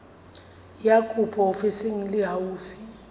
ya kopo ofising e haufi